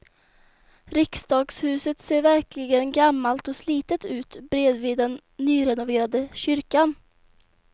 Riksdagshuset ser verkligen gammalt och slitet ut bredvid den nyrenoverade kyrkan.